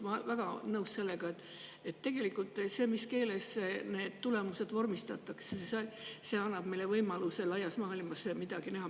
Ma olen väga nõus sellega, et see, mis keeles need tulemused vormistatakse, annab meile tegelikult võimaluse laias maailmas midagi näha.